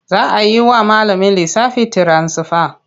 Za a yi wa malamin lissafi tiransifa.